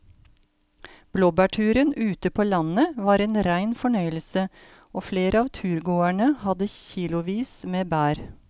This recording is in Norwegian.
Blåbærturen ute på landet var en rein fornøyelse og flere av turgåerene hadde kilosvis med bær.